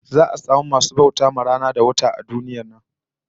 Za'a samu masu bauta wa rana da wata a duniyar nan